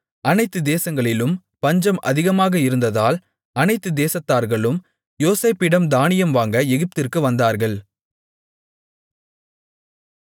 அனைத்து தேசங்களிலும் பஞ்சம் அதிகமாக இருந்ததால் அனைத்து தேசத்தார்களும் யோசேப்பிடம் தானியம் வாங்க எகிப்திற்கு வந்தார்கள்